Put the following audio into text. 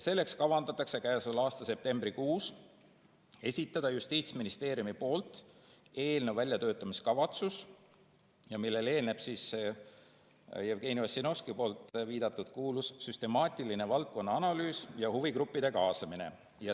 Selleks kavandatakse käesoleva aasta septembrikuus esitada Justiitsministeeriumi poolt eelnõu väljatöötamiskavatsus, millele eelneb see Jevgeni Ossinovski viidatud kuulus süstemaatiline valdkonna analüüs ja huvigruppide kaasamine.